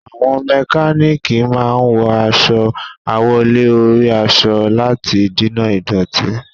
Àwọn mẹkánánìkì máa wọ aṣọ àwọ̀lé-orí-aṣọ láti dènà ìdọ̀tí.